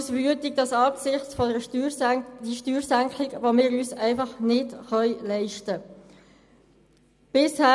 Weiter macht uns diese Steuersenkung wütend, die wir uns schlicht und einfach nicht leisten können.